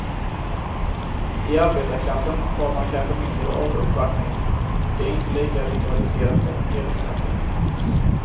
I arbetarklassen har man kanske mindre av uppvaktning, det är inte lika ritualiserat som i medelklassen.